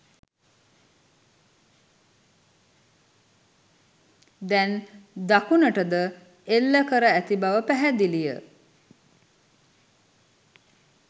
දැන් දකුණටද එල්ල කර ඇති බව පැහැදිලිය